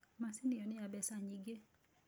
Macini ĩyo nĩ ya mbeca nyingĩ.